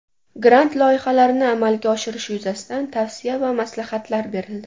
Grant loyihalarini amalga oshirish yuzasidan tavsiya va maslahatlar berildi.